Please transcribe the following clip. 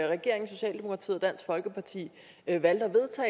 regeringen socialdemokratiet og dansk folkeparti valgte